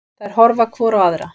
Þær horfa hvor á aðra.